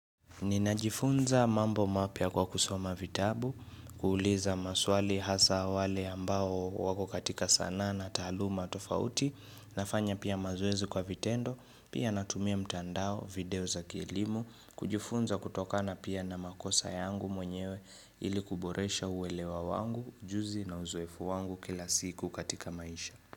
Ninajifunza mambo mapya kwa kusoma vitabu, kuuliza maswali hasa wale ambao wako katika sanaa na taaluma tafauti, nafanya pia mazoezi kwa vitendo, pia natumia mtandao, video za kielimu, kujifunza kutokana pia na makosa yangu mwenyewe ili kuboresha uelewa wangu, ujuzi na uzoefu wangu kila siku katika maisha.